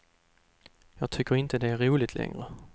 Jag tycker inte att det är roligt längre.